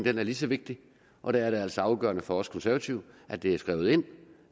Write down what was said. er lige så vigtig og der er det altså afgørende for os konservative at det er skrevet ind